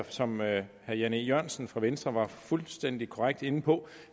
som herre jan e jørgensen fra venstre var fuldstændig korrekt inde på